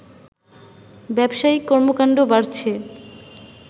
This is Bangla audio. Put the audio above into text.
ব্যবসায়িক কর্মকাণ্ড বাড়ছে